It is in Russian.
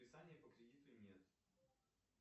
списания по кредиту нет